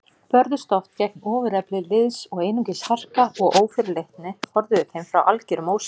Börðust oft gegn ofurefli liðs og einungis harka og ófyrirleitni forðuðu þeim frá algerum ósigri.